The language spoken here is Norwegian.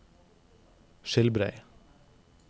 Skilbrei